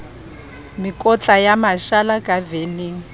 mekotla ya mashala ka veneng